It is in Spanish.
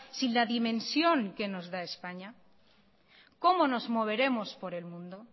sin la dimensión que nos da españa cómo nos moveremos por el mundo